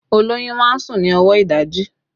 Olóyún máa ń sùn ní ọwọ ìdajì